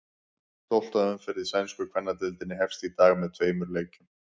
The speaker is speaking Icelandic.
Tólfta umferð í sænsku kvennadeildinni hefst í dag með tveimur leikjum.